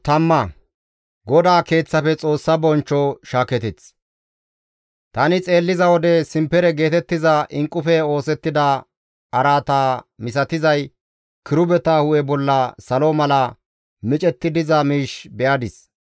Tani xeelliza wode simpere geetettiza inqqufe oosettida araata misatizay kirubeta hu7e bolla salo mala micetti diza miish be7adis.